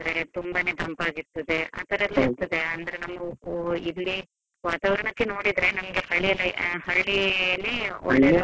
ಅಂದ್ರೆ ತುಂಬಾನೇ ತಂಪಾಗಿ ಆಗಿ ಇರ್ತದೆ, ಆತರ ಎಲ್ಲ ಇರ್ತದೆ ಅಂದ್ರೆ ಇಲ್ಲಿ ವಾತಾವರಣಕ್ಕೆ ನೋಡಿದ್ರೆ ನಮ್ಗೆ ಹಳ್ಳಿಯ ಆ ಹಳ್ಳಿಯಲ್ಲಿ ಒಳ್ಳೆದು.